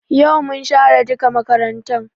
Yau mun share duka makarantan